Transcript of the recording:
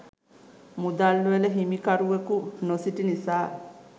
මුදල් වල හිමිකරුවකු නොසිටි නිසා